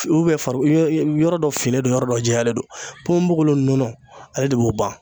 farikolo yɔrɔ dɔ finen don yɔrɔ dɔ jɛyalen don ponbogolo nɔnɔ ale de b'o ban.